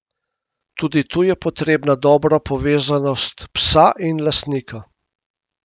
Tudi tu je potrebna dobra povezanost psa in lastnika.